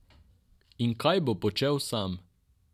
In kaj bo počel sam?